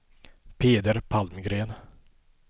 Peder Palmgren